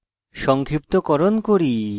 সংক্ষিপ্তকরণ করি